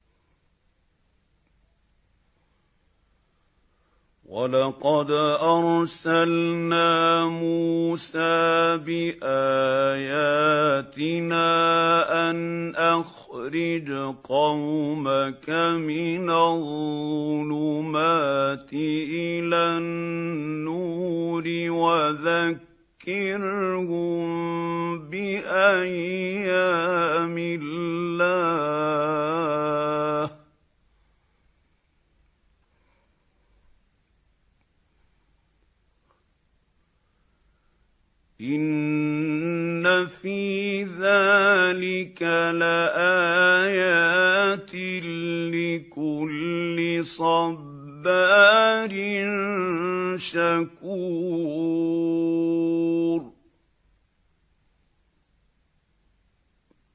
وَلَقَدْ أَرْسَلْنَا مُوسَىٰ بِآيَاتِنَا أَنْ أَخْرِجْ قَوْمَكَ مِنَ الظُّلُمَاتِ إِلَى النُّورِ وَذَكِّرْهُم بِأَيَّامِ اللَّهِ ۚ إِنَّ فِي ذَٰلِكَ لَآيَاتٍ لِّكُلِّ صَبَّارٍ شَكُورٍ